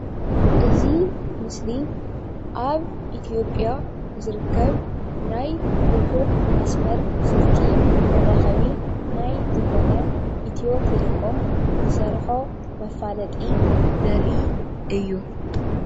እዚ ምስሊ ናይ ኢትዮ ቴለኮም ናይ ሞባይል ኢንተርኔት ራባዓይ ወለዶ መፋለጢ እዩ።